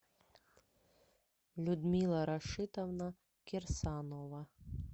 людмила рашитовна кирсанова